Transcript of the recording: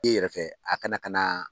E yɛrɛ fɛ a kana ka na